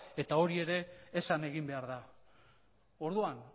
eta hori ere esan egin behar da orduan